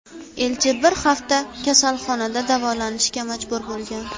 Elchi bir hafta kasalxonada davolanishga majbur bo‘lgan .